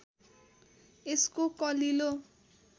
यसको कलिलो